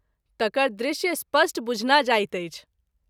तकर दृश्य स्पष्ट बुझना जाइत अछि।